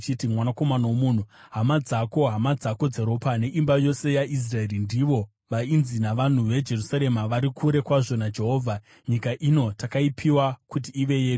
“Mwanakomana womunhu, hama dzako, hama dzako dzeropa neimba yose yaIsraeri, ndivo vainzi navanhu veJerusarema, ‘Vari kure kwazvo naJehovha; nyika ino takaipiwa kuti ive yedu.’